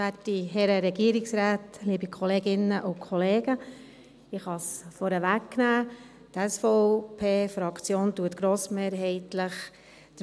Auch die SVP-Fraktion lehnt den Punkt 2 und den Punkt 3 grossmehrheitlich ab.